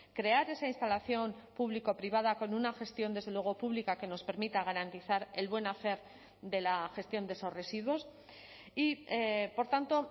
crear esa instalación público privada con una gestión desde luego pública que nos permita garantizar el buen hacer de la gestión de esos residuos y por tanto